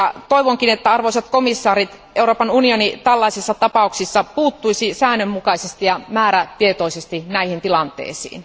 Toivonkin, arvoisat komission jäsenet, että Euroopan unioni tällaisissa tapauksissa puuttuisi säännönmukaisesti ja määrätietoisesti näihin tilanteisiin.